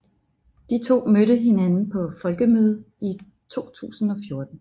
De to mødte hinanden på Folkemødet i 2014